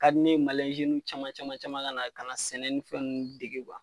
Ka di ne ye caman caman caman ka na ka na sɛnɛ ni fɛn nunnu dege